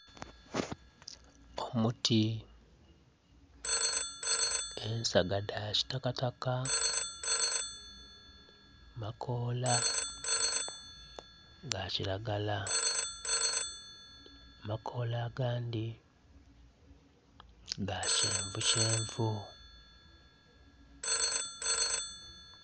Omuti ensaga dha kitakataka, makoola ga kiragala. Amakoola agandi ga kyenvu kyenvu